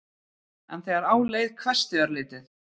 En þegar á leið hvessti örlítið.